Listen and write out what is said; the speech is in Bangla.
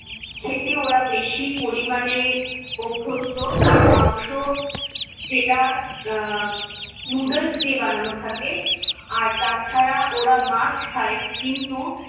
খেতে ওরা বেশি পরিমাণে অভ্যস্ত। আর মাংস যেটা আহ noodles দিয়ে বানানো থাকে আর তাছাড়া ওরা মাছ খায়, কিন্তু-